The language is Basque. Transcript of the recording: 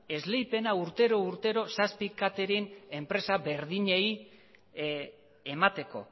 esleipena urtero urtero zazpi katering enpresa berdinei emateko